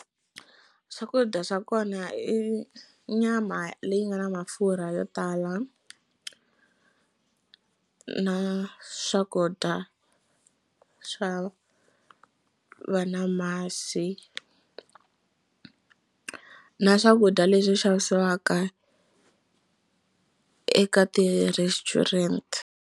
Swakudya swa kona i nyama leyi nga na mafurha yo tala na swakudya swa va na masi na swakudya leswi xavisiwaka eka ti-restaurant.